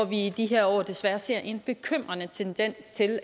vi i de her år desværre ser en bekymrende tendens til